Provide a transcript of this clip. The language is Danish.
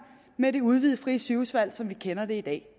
med det udvidede frie sygehusvalg som vi kender det i dag